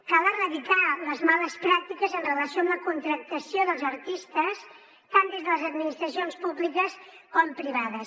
cal erradicar les males pràctiques amb relació a la contractació dels artistes tant des de les administracions públiques com privades